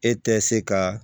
E tɛ se ka